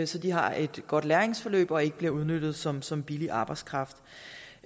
så de har et godt læringsforløb og ikke bliver udnyttet som som billig arbejdskraft